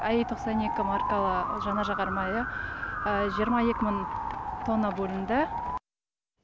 аи тоқсан екі маркалы жанар жағармайы жиырма екі мың тонна бөлінді